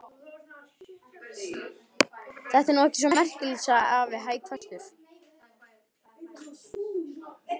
Þetta er nú ekki svo merkilegt! sagði afi hæverskur.